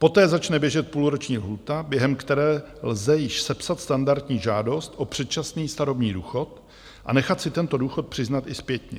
Poté začne běžet půlroční lhůta, během které lze již sepsat standardní žádost o předčasný starobní důchod a nechat si tento důchod přiznat i zpětně.